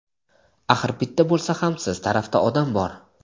Axir bitta bo‘lsa ham siz tarafda odam bor.